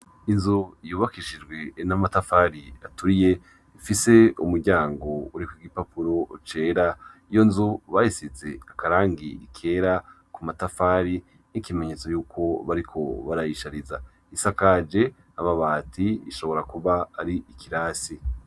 Inzu yubakishijwe namatafari atuiye ifise umuryango uri kugi papuro ucera iyo nzu bahisize akarangira ikera ku matafari n'ikimenyetso yuko bariko barayishariza isiakaje ababati ishobora kuba ari ikirasi.